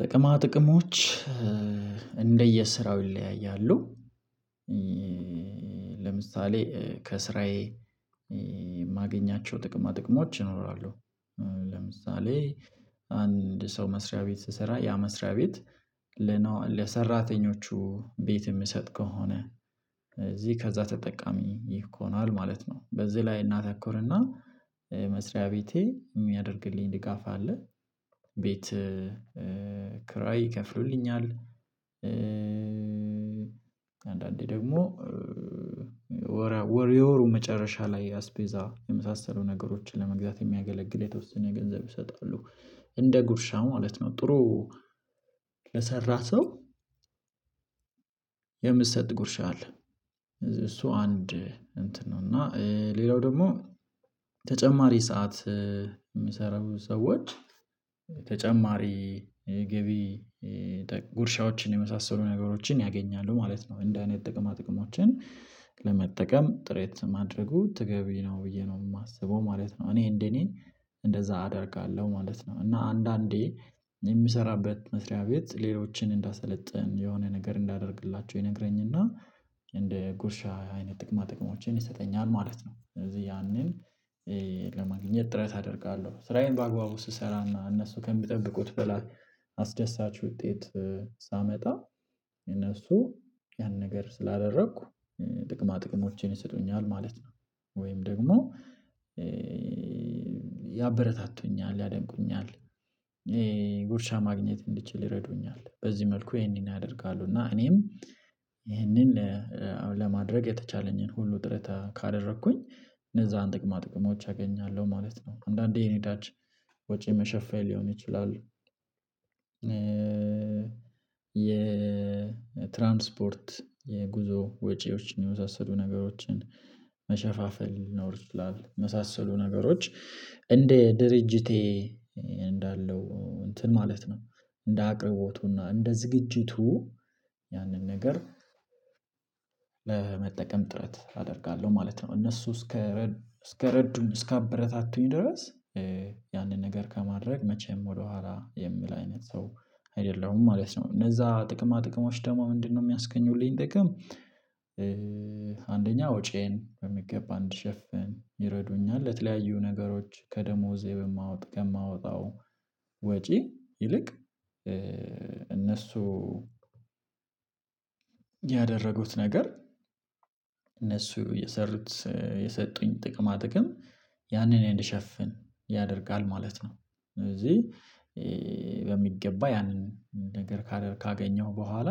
ጥቅማ ጥቅሞች እንደየስራው ይለያያሉ። ለምሳሌ ከስራዬ የማገኛቸው ጥቅማ ጥቅሞች ይኖራሉ። ለምሳሌ አንድ ሰው መስሪያ ቤት ስሰራ ያ መስሪያ ቤት ለሰራተኞቹ ቤት የሚሰጥ ከሆነ እዚህ ከዛ ተጠቃሚ ይኮኗል ማለት ነው። በዚህ ላይ እናተኩርና መስሪያ ቤቴ የሚያደርግልኝ ድጋፍ አለ። ቤት ክራይ ይከፍሉልኛል። አንዳንዴ ደግሞ ወር የወሩ መጨረሻ ላይ አስቤዛ የመሳሰሉ ነገሮችን ለመግዛት የሚያገለግል የተወሰነ ገንዘብ ይሰጣሉ እንደ ጉርሻ ማለት ነው። ጥሩ ለሰራ ሰው የሚሰጥ ጉርሻ አለ። እሱ አንድ እንትን ነው። እና ሌላው ደግሞ ተጨማሪ ሰዓት የሚሰሩ ሰዎች ተጨማሪ ገቢ ጉርሻዎችን የመሳሰሉ ነገሮችን ያገኛሉ ማለት ነው። እንደ አይነት ጥቅማ ጥቅሞችን ለመጠቀም ጥረት ማድረጉ ትገቢ ነው ብዬ ነው የማስበው ማለት ነው። እኔ እንደኔ እንደዛ አደርጋለሁ ማለት ነው። እና አንዳንዴ የምሰራበት መስሪያ ቤት ሌሎችን እንዳሰለጠን የሆነ ነገር እንዳደርግላችሁ ይነግረኝና እንደ ጉርሻ አይነት ጥቅማ ጥቅሞችን ይሰጠኛል ማለት ነው። ስለዚህ ያንን ለማግኘት ጥረት አደርጋለሁ ስራዬን በአግባቡ ስሰራና እነሱ ከሚጠብቁት በላይ አስደሳች ውጤት ሳመጣ እነሱ ያን ነገር ስላደረኩ ጥቅማ ጥቅሞቼን ይሰጡኛል ማለት ነው። ወይም ደግሞ ያበረታቱኛል ያደንቁኛል ጉርሻ ማግኘት እንድችል ይረዱኛል። በዚህ መልኩ ይሄንን ያደርጋሉ። እና እኔም ይሄንን ለማድረግ የተቻለኝን ሁሉ ጥረት ካደረኩኝ እነዛን ጥቅማ ጥቅሞች አገኛለሁ ማለት ነው። አንዳንዴ የነዳጅ ወጪ መሸፈን ሊሆን ይችላል። የትራንስፖርት የጉዞ ወጪዎችን የመሳሰሉ ነገሮችን መሸፋፈን ይኖርብናል መሳሰሉ ነገሮች እንደ ድርጅቴ እንዳለው እንትን ማለት ነው። እንደ አቅርቦቱና እንደ ዝግጅቱ ያንን ነገር ለመጠቀም ጥረት አደርጋለሁ ማለት ነው። እነሱ እስከ እስከረዱኝ እስከአበረታቱኝ ድረስ ያንን ነገር ከማድረግ መቼም ወደኋላ የሚል አይነት ሰው አይደለሁም ማለት ነው። እነዛ ጥቅማ ጥቅማ ውስጥ ደግሞ ምንድነው የሚያስገኘውልኝ ጥቅም? አንደኛ ወጪዬን በሚገባ አንድ ሸፍን ይረዱኛል ለተለያዩ ነገሮች ከደሞዜ በማወጣው ወጪ ይልቅ እነሱ ያደረጉት ነገር እነሱ የሰሩት የሰጡኝ ጥቅማ ጥቅም ያንን እንዲሸፍን ያደርጋል ማለት ነው። እዚህ ያንን ነገር ካገኘው በኋላ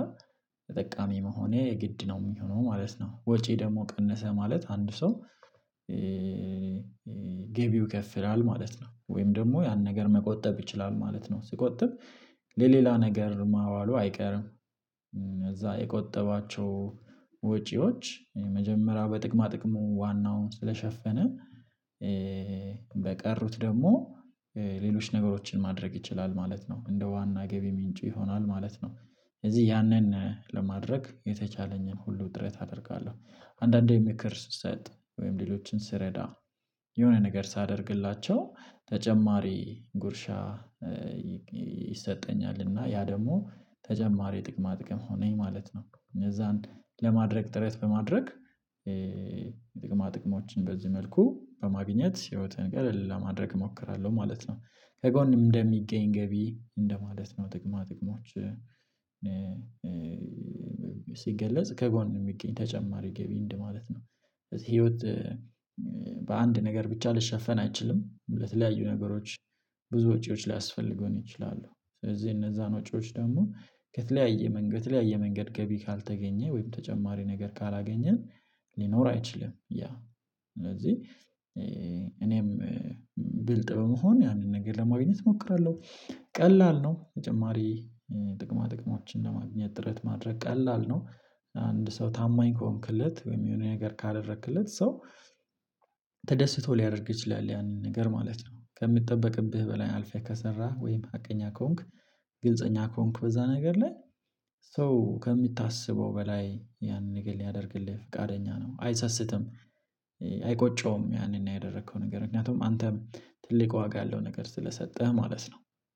ተጠቃሚ መሆኔ ግድ ነው የሚሆነው ማለት ነው። ወጪ ደግሞ ቀነሰ ማለት አንድ ሰው ገቢው ይከፍላል ማለት ነው። ወይም ደግሞ ያን ነገር መቆጠብ ይችላል ማለት ነው። ስቆጥብ ለሌላ ነገር ማዋሉ አይቀርም። እዛ የቆጠባቸው ወጪዎች የመጀመሪያ በጥቅማ ጥቅሙ ዋናውን ስለሸፈነ በቀሩት ደግሞ ሌሎች ነገሮችን ማድረግ ይችላል ማለት ነው። እንደ ዋና ገቢ ምንጭ ይሆናል ማለት ነው። ስለዚህ ያንን ለማድረግ የተቻለኝን ሁሉ ጥረት አደርጋለሁ። አንዳንዴ ምክር ስሰጥ ወይም ሌሎችን ስረዳ የሆነ ነገር ሳደርግላቸው ተጨማሪ ጉርሻ ይሰጠኛል እና ያ ደግሞ ተጨማሪ ጥቅማ ጥቅም ሆነኝ ማለት ነው። እነዛን ለማድረግ ጥረት በማድረግ ጥቅማ ጥቅሞችን በዚህ መልኩ በማግኘት ህይወትን ቀለል ለማድረግ እሞክራለሁ ማለት ነው። ከጎን እንደሚገኝ ገቢ እንደማለት ነው። ጥቅማ ጥቅሞች ሲገለጽ ከጎን የሚገኝ ተጨማሪ ገቢ እንድማለት ነው። ህይወት በአንድ ነገር ብቻ ልሸፈን አይችልም ለተለያዩ ነገሮች ብዙ ውጪዎች ላይ አስፈልገው ነው። ይችላሉ ስለዚህ እነዛን ውጪዎች ደግሞ ከተለያየ መንገድ ከተለያየ መንገድ ገቢ ካልተገኘ ወይም ተጨማሪ ነገር ካላገኘን ሊኖር አይችልም። ያ ስለዚህ እኔም ብልጥ በመሆን ያንን ነገር ለማግኘት እሞክራለሁ። ቀላል ነው። ተጨማሪ ጥቅማ ጥቅሞችን ለማግኘት ጥረት ማድረግ ቀላል ነው። አንድ ሰው ታማኝ ከሆንክለት ወይም የሆነ ነገር ካደረክለት ሰው ተደስቶ ሊያደርግ ይችላል ያንን ነገር ማለት ነው። ከሚጠበቅብህ በላይ አልፌህ ከሰራህ ወይም ሀቀኛ ከሆንክ። ግልፀኛ ከሆንክ በዛ ነገር ላይ ሰው ከሚታሰበው በላይ ያንን ነገር ሊያደርግልህ ፈቃደኛ ነው አይሰስትም። አይቆጨውም ያንን ያደረከው ነገር ምክንያቱም አንተም ትልቅ ዋጋ ያለው ነገር ስለሰጠህ ማለት ነው።